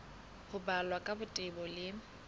ho balwa ka botebo le